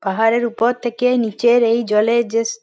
পাহাড়ের উপর থেকে নিচের এই জলের যে স --